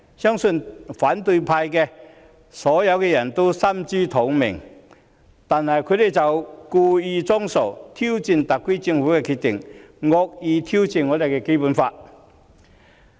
相信反對派都心知肚明，但他們卻故意裝傻，挑戰特區政府的決定，惡意挑戰《基本法》。